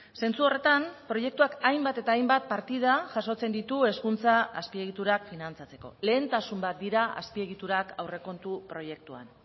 zentsu horretan proiektuak hainbat eta hainbat partida jasotzen ditu hezkuntza azpiegiturak finantzatzeko lehentasun bat dira azpiegiturak aurrekontu proiektuan